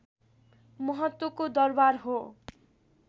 महत्त्वको दरबार हो